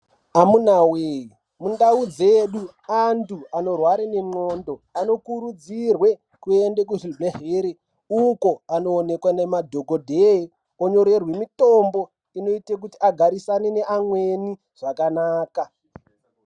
Amuna we mundau dzedu antu anorwara nengonxo anokurudzirwa kuenda kuzvibhedhlera uko anoonekwa nemadhokodheya anyorerwa mitombo inoita agatisane neamweni zvakanaka.